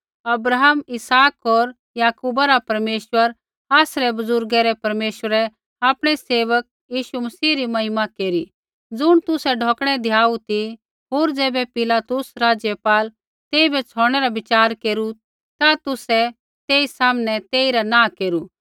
अब्राहम इसहाक होर याकूबा रा परमेश्वर आसरै बुज़ुर्गा रै परमेश्वरै आपणै सेवक यीशु री महिमा केरी ज़ुण तुसै ढौकणै द्याऊ ती होर ज़ैबै पिलातुस राज़पाल तेइबै छ़ौडनै रा बिच़ार केरू ता तुसै तेई सामनै तेइरा नाँह केरू